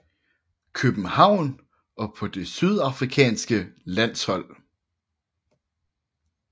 København og på det sydafrikanske landshold